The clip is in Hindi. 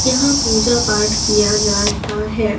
यहां पूजा पाठ किया जाता है।